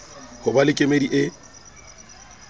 ho ba le kemedi e